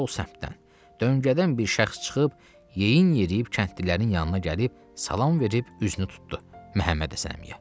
Sol səmtdən, döngədən bir şəxs çıxıb yeyin yeriyib kəndlilərin yanına gəlib salam verib üzünü tutdu Məhəmməd Həsən əmiyə.